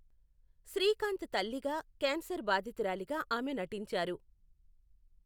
శ్రీకాంత్ తల్లిగా, కేన్సర్ బాధితురాలిగా ఆమె నటించారు.